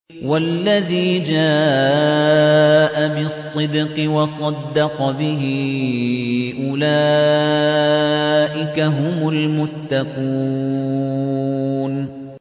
وَالَّذِي جَاءَ بِالصِّدْقِ وَصَدَّقَ بِهِ ۙ أُولَٰئِكَ هُمُ الْمُتَّقُونَ